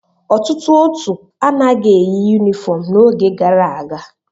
Ọtụtụ òtù anaghị eyi yunifọm n'oge gara aga.